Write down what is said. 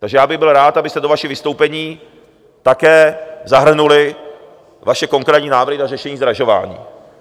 Takže já bych byl rád, abyste do vašich vystoupení také zahrnuli vaše konkrétní návrhy na řešení zdražování.